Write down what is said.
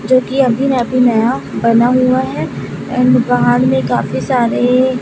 जो की अभी अभी नया बना हुआ हैं एंड बाहर में काफी सारे--